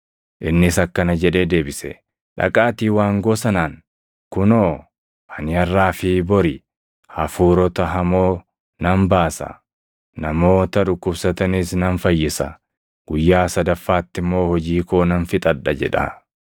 Innis akkana jedhee deebise; “Dhaqaatii waangoo sanaan, ‘Kunoo, ani harʼaa fi bori hafuurota hamoo nan baasa; namoota dhukkubsatanis nan fayyisa; guyyaa sadaffaatti immoo hojii koo nan fixadha’ jedhaa.